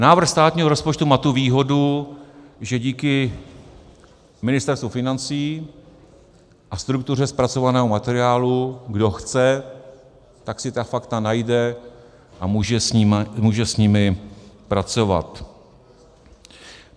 Návrh státního rozpočtu má tu výhodu, že díky Ministerstvu financí a struktuře zpracovaného materiálu kdo chce, tak si ta fakta najde a může s nimi pracovat.